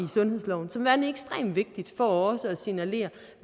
sundhedsloven som værende ekstremt vigtigt for også at signalere